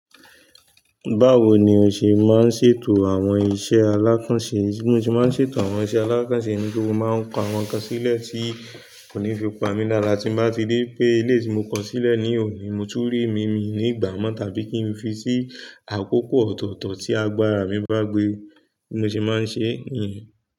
Báwo ni o ṣe máa ń ṣètò àwọn iṣẹ́ alákànṣe? Bí mo ṣe máa ń ṣètò àwọn iṣẹ́ alákànṣe ni pé mo máa ń ko àwọn nǹkan sílẹ̀ tí kò ní fi pa mí lára tí n bá ti rí pé eleyi tí mo ko sílẹ̀ ní òní, mo tún ri mí mí ní gbà mo tàbí kí n fi sí àkókò ọ̀tọ̀ọ̀tọ̀ tí agbára mi bá gbé. Bí mo ṣe máa ń ṣe nìyẹn.